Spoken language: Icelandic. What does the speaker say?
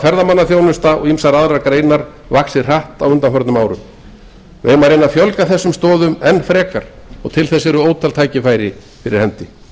ferðamannaþjónustan og ýmsar aðrar greinar vaxið hratt á undanförnum árum við eigum að reyna að fjölga þessum stoðum enn frekar tækifærin eru fyrir hendi